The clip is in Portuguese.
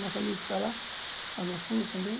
Nosso amigo que está lá, lá no fundo também.